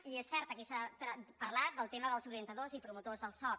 és cert aquí se n’ha parlat el tema dels organitzadors i promotors del soc